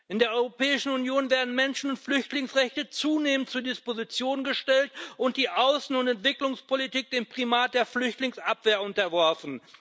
In der Europäischen Union werden Menschen und Flüchtlingsrechte zunehmend zur Disposition gestellt und die Außen und Entwicklungspolitik dem Primat der Flüchtlingsabwehr unterworfen.